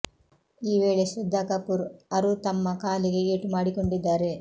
ಈ ವೇಳೆ ಶ್ರದ್ಧಾ ಕಪೂರ್ ಅರು ತಮ್ಮ ಕಾಲಿಗೆ ಏಟು ಮಾಡಿಕೊಂಡಿದ್ದಾರೆ